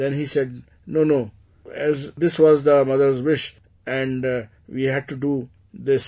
Then he said that no no, this was the mother's wish and we had to do this